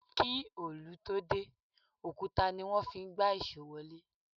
Kí òlù tó dé, òkúta ní wọ́n fí ń gbá ìṣó wọlé.